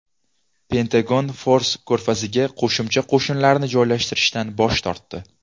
Pentagon Fors ko‘rfaziga qo‘shimcha qo‘shinlarni joylashtirishdan bosh tortdi.